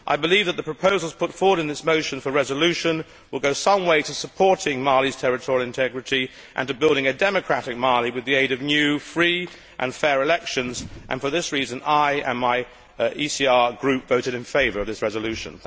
I believe that the proposals put forward in this motion for a resolution will go some way to supporting Mali's territorial integrity and to building a democratic Mali with the aid of new free and fair elections. For this reason I and my ECR Group voted in favour of this resolution.